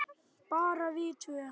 Bara við tvö?